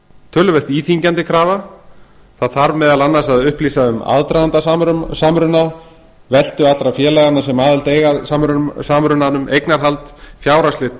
töluvert íþyngjandi krafa það þarf meðal annars að upplýsa um aðdraganda samruna veltu allra félaganna sem aðild eiga að samrunanum eignarhald fjárhagsleg